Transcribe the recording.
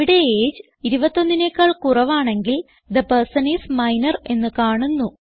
ഇവിടെ എജിഇ 21നെക്കാൾ കുറവാണെങ്കിൽ തെ പെർസൻ ഐഎസ് മൈനർ എന്ന് കാണുന്നു